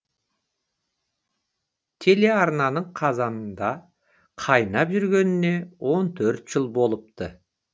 телеарнаның қазанында қайнап жүргеніне он төрт жыл болыпты